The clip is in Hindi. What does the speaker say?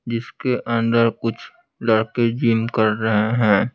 जिसके अंदर कुछ लड़के जिम कर रहे हैं।